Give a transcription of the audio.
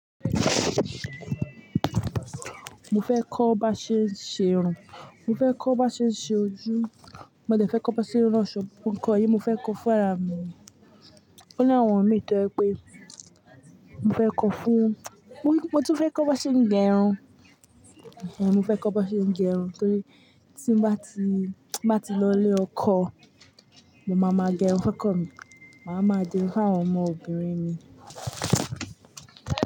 Mo fẹ́ kọ́ bá ṣe n ṣe irun, mo fẹ́ kọ́ bá ṣe n ṣe ojú, mo dẹ̀ fẹ́ kọ́ bá ṣe n ransọ̀ọ́, gbogbo ńkan yí, mo fẹ́ kọ́ fún ara mi, ó ní àwọn mi tó jẹ̀ pé mo fẹ́ kọ́ fún, mo ní mo tún fẹ́ kọ́ bá ṣe ń gẹrun. Ẹ̀hẹ̀n, mo fẹ́ kọ́ bá ṣe ń gẹrun torí tí n bá ti, ti nba ti lọ ilé ọkọ, mo máa ma gẹrun fun okọ mí, màá ma di irun fún àwọn ọmọbìnrin mi.